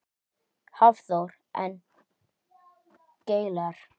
Hafþór: En gler?